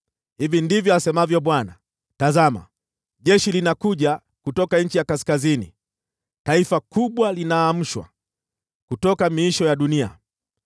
Hivi ndivyo asemavyo Bwana : “Tazama, jeshi linakuja kutoka nchi ya kaskazini, taifa kubwa linaamshwa kutoka miisho ya dunia.